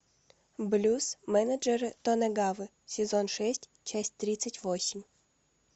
блюз менеджера тонэгавы сезон шесть часть тридцать восемь